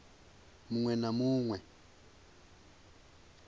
ṅ we na mu ṅ